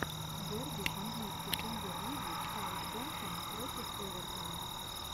дерби английской премьер лиги саутгемптон против эвертона